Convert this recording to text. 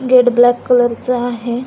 Gate black colour च आहे.